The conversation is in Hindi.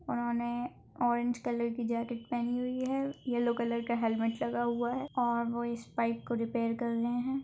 उन्होंने ऑरेंज कलर की जॅकेट पहनी हुई है येल्लो कलर का हेलमेट लगा हुआ है और वो इस पाइप को रिपेयर करा रहे हैं।